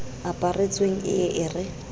aparetseng e ye e re